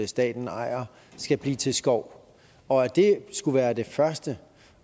staten ejer skal blive til skov og at det skulle være det første